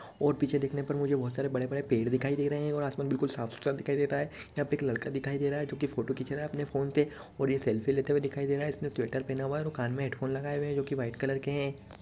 और पीछे देखने पर मझे बहोत सारे बड़े-बड़े पेड़ दिखाई दे रहे हैं और आसमान बिल्कुल साफ-सुथरा दिखाई दे रहा है यहाँ पे एक लड़का दिखाई दे रहा है जो की फोटो खींच रहा है अपने फोन पे और यह सेल्फ़ी लेते हुए दिखाई दे रहा है इसने स्वेटर पहना हुआ है कान मे हेड्फोन लगाई हुए है जो की व्हाइट कलर के हैं।